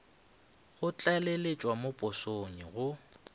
go tlaleletšwa mo posong go